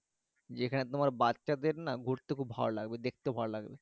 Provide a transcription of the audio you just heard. যে খানে তোমার বাচ্চা দেড় ঘুরতে খুব ভালো লাগবে দেখতে ভালো লাগবে